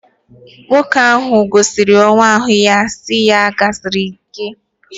Nwoke ahụ gọziri nwa ahụ sị ya " ya gaziere gị".